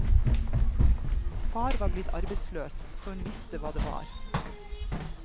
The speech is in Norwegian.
Far var blitt arbeidsløs, så hun visste hva det var.